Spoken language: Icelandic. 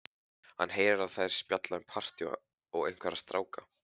Hann heyrir að þær spjalla um partí og einhverja stráka.